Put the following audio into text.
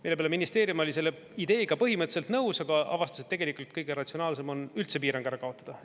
Mille peale ministeerium oli selle ideega põhimõtteliselt nõus, aga avastas, et tegelikult kõige ratsionaalsem on üldse piirang ära kaotada.